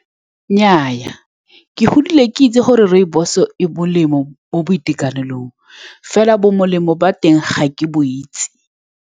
Nnyaa, ke godile ke itse gore rooibos-o e molemo mo boitekanelong, fela bo molemo ba teng ga ke bo itse.